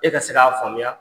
E ka se k'a faamuya